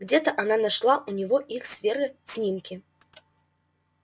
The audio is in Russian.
где-то она нашла у него их с верой снимки